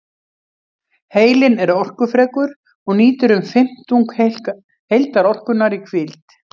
Heilinn er orkufrekur og nýtir um fimmtung heildarorkunnar í hvíld.